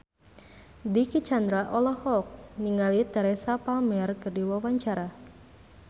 Dicky Chandra olohok ningali Teresa Palmer keur diwawancara